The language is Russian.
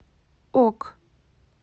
ок